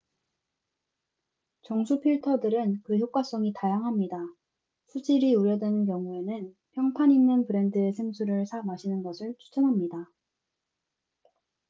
정수 필터들은 그 효과성이 다양합니다 수질이 우려되는 경우에는 평판 있는 브랜드의 생수를 사 마시는 것을 추천합니다